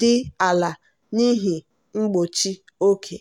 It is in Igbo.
dị ala n'ihi mgbochi oge.